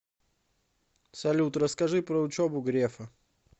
салют расскажи про учебу грефа